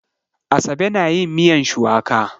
Asabe na yin miyan shuwaka.